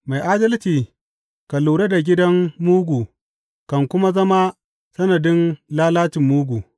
Mai Adalci kan lura da gidan mugu kan kuma zama sanadin lalacin mugu.